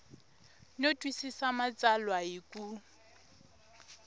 no twisisa matsalwa hi ku